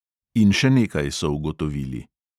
In še nekaj so ugotovili.